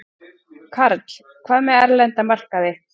Karl: Hvað með erlenda markaði?